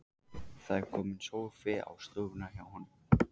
Það er kominn sófi á stofuna hjá honum.